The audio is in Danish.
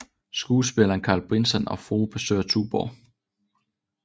Skuespilleren Carl Brisson og frue besøger Tuborg